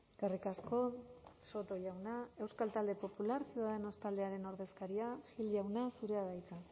eskerrik asko soto jauna euskal talde popular ciudadanos taldearen ordezkaria gil jauna zurea da hitza